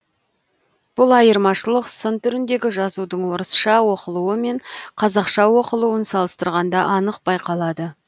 бұл айырмашылық сын түріндегі жазудың орысша оқылуы мен қазақша оқылуын салыстырғанда анық байқалады